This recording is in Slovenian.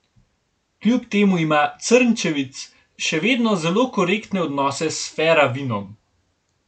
Kljub temu ima Crnčević še naprej zelo korektne odnose s Fera Vinom.